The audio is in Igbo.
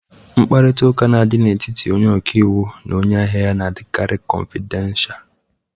Mkparịta ụka dị n'etiti onye ọka iwu na onye ahịa ya na-adịkari kọfidensha.